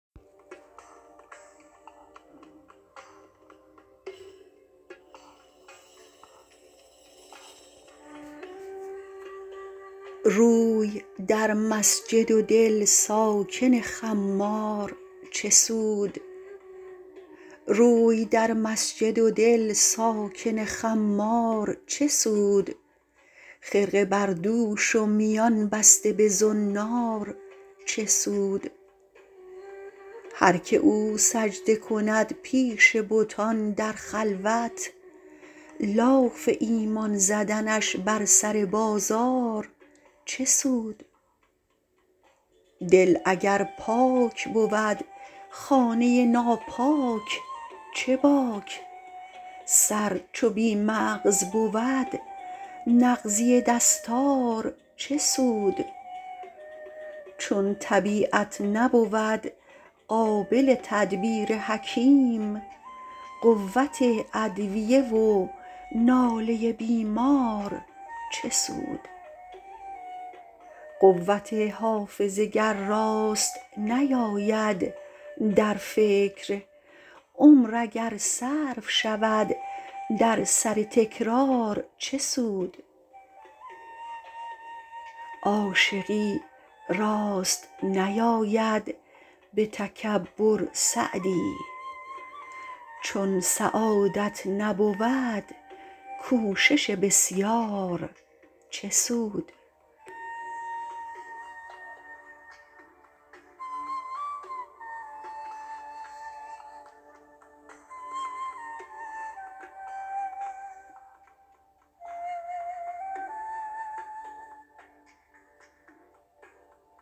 روی در مسجد و دل ساکن خمار چه سود خرقه بر دوش و میان بسته به زنار چه سود هر که او سجده کند پیش بتان در خلوت لاف ایمان زدنش بر سر بازار چه سود دل اگر پاک بود خانه ناپاک چه باک سر چو بی مغز بود نغزی دستار چه سود چون طبیعت نبود قابل تدبیر حکیم قوت ادویه و ناله بیمار چه سود قوت حافظه گر راست نیاید در فکر عمر اگر صرف شود در سر تکرار چه سود عاشقی راست نیاید به تکبر سعدی چون سعادت نبود کوشش بسیار چه سود